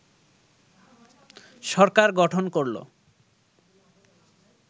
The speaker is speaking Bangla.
সরকার গঠন করল